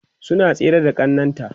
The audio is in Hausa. suna tsere da ƙannan ta